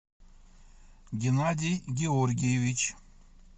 геннадий георгиевич